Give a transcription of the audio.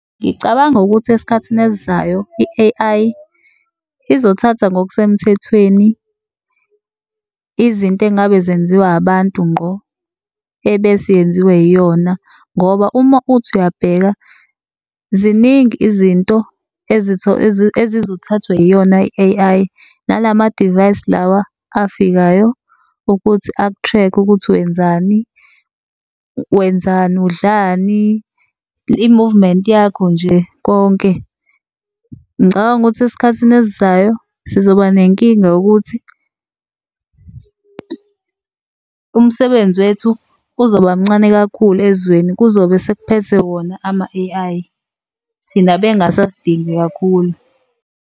Ngicabanga ukuthi esikhathini esizayo i-A_I izothatha ngokusemthethweni izinto engabe zenziwa abantu ngqo ebese yenziwe yiyona. Ngoba uma uthi uyabheka ziningi izinto ezizothathwa yiyona i-A_I nala madivayisi lawa afikayo ukuthi aku-track-e ukuthi wenzani wenzani, udlani, i-movement yakho nje konke. Ngicabanga ukuthi esikhathini esizayo sizoba nenkinga yokuthi umsebenzi wethu uzoba mncane kakhulu ezweni, kuzobe sekuphethe wona ama-A_I thina bengasasidingi kakhulu.